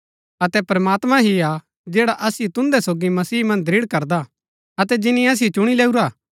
अतै प्रमात्मां ही हा जैडा असिओ तुन्दै सोगी मसीह मन्ज दृढ़ करदा हा अतै जिनी असिओ चुणी लैऊरा हा